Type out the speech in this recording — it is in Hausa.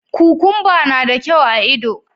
Kukumba na da kyau a ido.